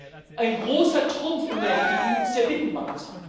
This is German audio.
Sie hat gesagt Ein großer Trumpf in der EU ist der Binnenmarkt.